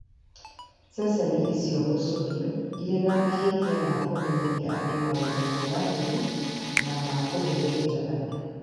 Ceceni icio gũcũhio irĩ na mahĩtia ma kũmenyithia andũ 'maũndũ ma ũragũri na kũhehenja andũ'.